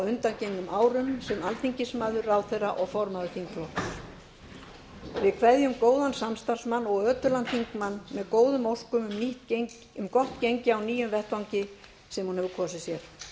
á undangengum árum sem alþingismaður ráðherra og formaður þingflokks við kveðjum góðan samstarfsmann og ötulan þingmann með góðum óskum um gott gengi á nýjum vettvangi sem hún hefur nú kosið sér